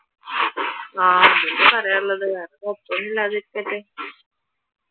ആഹ് അതുതന്നെ പറയാൻ ഉള്ളത് വേറെ കുഴപ്പം ഒന്നും ഇല്ലാതെ ഇരിക്കട്ടെ